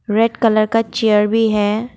Red colour का chair भी है।